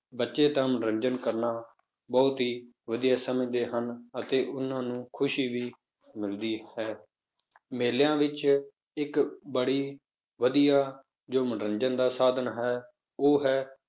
ਬੱਚੇ ਤਾਂ ਮਨੋਰੰਜਨ ਕਰਨਾ ਬਹੁਤ ਹੀ ਵਧੀਆ ਸਮਝਦੇ ਹਨ, ਅਤੇ ਉਹਨਾਂ ਨੂੰ ਖ਼ੁਸ਼ੀ ਵੀ ਮਿਲਦੀ ਹੈ, ਮੇਲਿਆਂ ਵਿੱਚ ਇੱਕ ਬੜੀ ਵਧੀਆ ਮਨੋਰੰਜਨ ਦਾ ਸਾਧਨ ਹੈ, ਉਹ ਹੈ